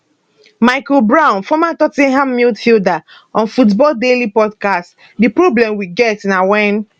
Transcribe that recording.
michael brown former tot ten ham midfielder on football daily podcast di problem we get na wen